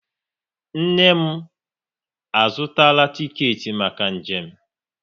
Nne m a zụtara tiket maka njem